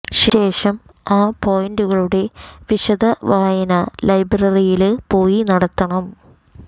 ശേഷം ആ പോയിന്റുകളുടെ വിശദ വായന ലൈബ്രറിയില് പോയി നടത്തണം